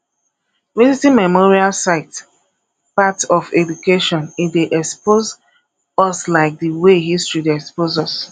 visiting memorial sites part of education e dey expose us like di wey history dey expose us